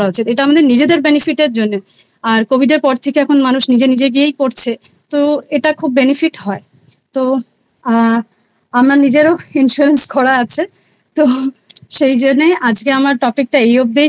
করা উচিত এটা আমাদের নিজেদের Benefit এর জন্যে আর Covid এর পর থেকে এখন মানুষ নিজে নিজে গিয়েই করছে তো এটা খুব Benefit হয়। তো আ আমার নিজেরও Insurance করা আছে তো সেইজন্যই আজকে আমার এই অবদি